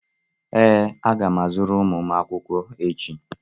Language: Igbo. Ee, aga m azụrụ ụmụ m akwụkwọ echi.